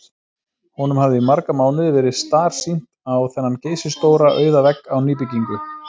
Honum hafði í marga mánuði verið starsýnt á þennan geysistóra auða vegg á nýbyggingu